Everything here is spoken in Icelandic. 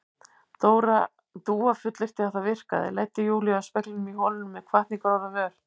Dúa fullyrti að það virkaði, leiddi Júlíu að speglinum í holinu með hvatningarorð á vör.